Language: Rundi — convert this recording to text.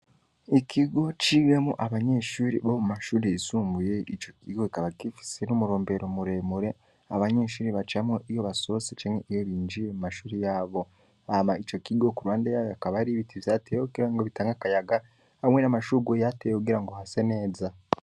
Ikigo ciwemwo abanyeshure bo mu mashure yisumbuye, ico kigo kikaba gifise n'umurombero muremure abanyeshure bacamwo iyo basohotse canke iyo binjiye mu mashuri yabo. Hama ico kigo ku ruhande yaho hakaba hari ibiti vyatewe kugira ngo bitange akayaga n'amashugwe yahatewe kugira ngo hase neza.